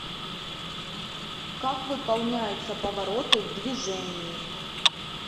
как выполняются повороты в движении